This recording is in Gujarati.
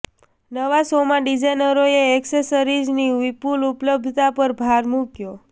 નવા શોમાં ડિઝાઇનરોએ એક્સેસરીઝની વિપુલ ઉપલબ્ધતા પર ભાર મૂક્યો